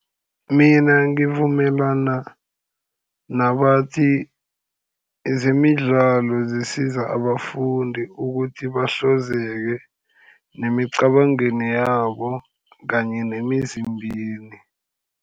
Mina ngivumelana nabathi zemidlalo zisiza abafundi ukuthi nemicabangweni yabo, kanye nemizimbeni.